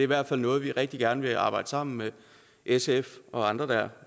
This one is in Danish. hvert fald noget vi rigtig gerne vil arbejde sammen med sf og andre der